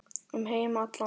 Um heim allan.